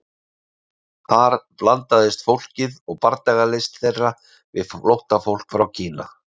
Þar blandaðist fólkið og bardagalist þeirra við flóttafólk frá Kína.